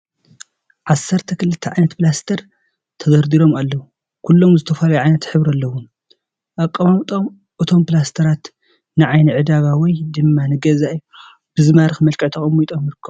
ዓሰርተ ክልተ ዓይነት ፕላስተር ተደርዲሮም ኣለዉ ኩሎም ዝተፈላለየ ዓይነት ሕብሪ አለዎም፡፡ አቀማምጣ እቶም ፕላስተራት ንዓይኒ ዕዳጋ ወይ ድማ ንገዛኢ ብዝማርክ መልክዕ ተቀሚጦም ይርከቡ፡፡